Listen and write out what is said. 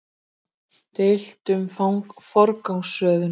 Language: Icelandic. Deilt um forgangsröðun